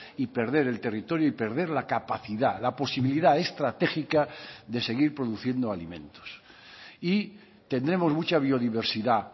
y perder el territorio y perder la capacidad la posibilidad estratégica de seguir produciendo alimentos y tendremos mucha biodiversidad